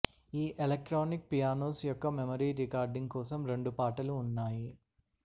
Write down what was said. ఈ electronic pianos యొక్క memory recording కోసం రెండు పాటలు ఉన్నాయి